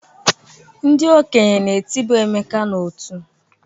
Ndị okenye na-etiba Emeka n'ọtú.